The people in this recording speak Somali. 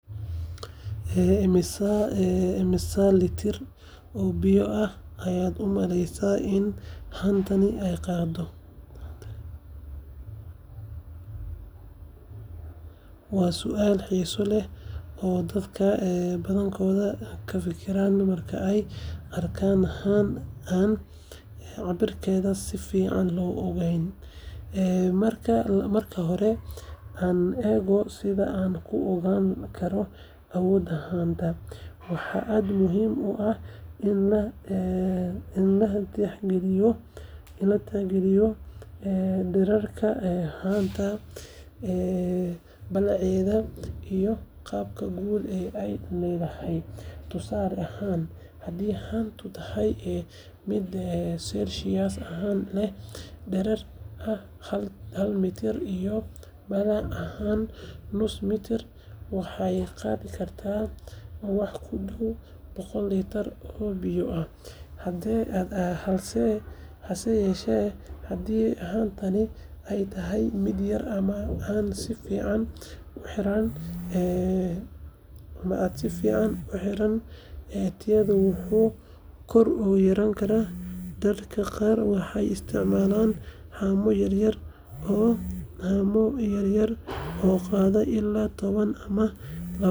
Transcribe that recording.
Immisa litir oo biyo ah ayaad u malaynaysaa in haantani ay qaado? Waa su’aal xiiso leh oo dadka badankood ka fikiraan marka ay arkaan haan aan cabirkeeda si fiican loo ogeyn. Marka hore, aan eegno sida aan ku ogaan karno awoodda haanta. Waxa aad u muhiim ah in la tixgeliyo dhererka haanta, ballaceeda, iyo qaabka guud ee ay leedahay. Tusaale ahaan, haddii haantu tahay mid celcelis ahaan leh dherer ah hal mitir iyo ballac dhan nus mitir, waxay qaadi kartaa wax ku dhow boqol litir oo biyo ah. Hase yeeshee, haddii haantaasi ay tahay mid yar ama aan si fiican u xiran, tiradaasi wuu ka yaraadaa. Dadka qaar waxay isticmaalaan haamo yar yar oo qaada ilaa toban ama labaatan litir, halka kuwa kale ay leeyihiin haamo waaweyn oo qaada in ka badan boqol litir. Marka laga hadlayo su’aashan, waxaa fiican in la isticmaalo cabir sax ah si loo ogaado tirada litirada ay haantu qaadi karto. Taasina waxay naga caawisaa in aan biyo u isticmaallo si habboon, gaar ahaan marka aan dooneyno in aan wax keydsano ama aan safar ugu diyaargarowno.